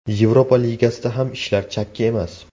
Yevropa Ligasida ham ishlar chakki emas.